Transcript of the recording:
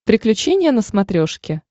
приключения на смотрешке